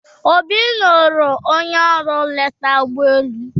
Obi lụrụ onye ọrụ nleta ụgbọelu.